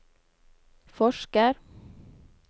forsker